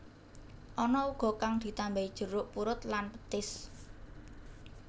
Ana uga kang ditambahi jeruk purut lan petis